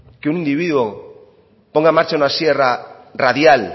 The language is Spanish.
que un individuo ponga en marcha una sierra radial